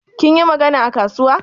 Kin yi maganan a kasuwa?